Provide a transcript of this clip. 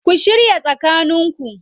Ku shiya tsakaninku